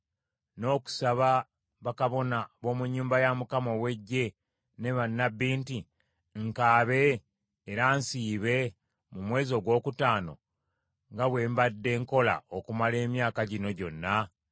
n’okusaba bakabona b’omu nnyumba ya Mukama ow’Eggye ne bannabbi nti, “Nkaabe era nsiibe mu mwezi ogwokutaano nga bwe mbadde nkola okumala emyaka gino gyonna?”